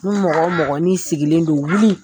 Ni mɔgɔ mɔgɔ n'i sigilen don, wuli.